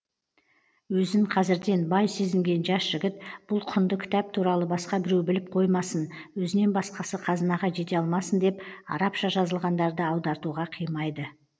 өзін қазірден бай сезінген жас жігіт бұл құнды кітап туралы басқа біреу біліп қоймасын өзінен басқасы қазынаға жете алмасын деп арапша жазылғандарды аудартуға қимайды